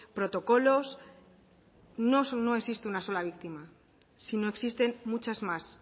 protocolos no solo no existe una sola víctima sino existen muchas más